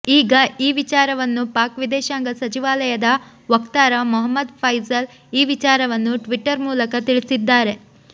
ಈಗ ಈ ವಿಚಾರವನ್ನು ಪಾಕ್ ವಿದೇಶಾಂಗ ಸಚಿವಾಲಯದ ವಕ್ತಾರ ಮೊಹಮ್ಮದ್ ಫೈಸಲ್ ಈ ವಿಚಾರವನ್ನು ಟ್ವಿಟ್ಟರ್ ಮೂಲಕ ತಿಳಿಸಿದ್ದಾರೆ